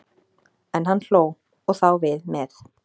En hann hló, og þá við með.